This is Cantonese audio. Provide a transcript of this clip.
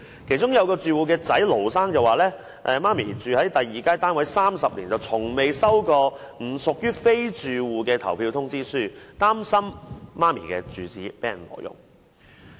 其中一名住戶的兒子盧先生表示，其母住在第二街單位30年，從未接獲不屬於住戶的投票通知書，擔心母親的住址被挪用。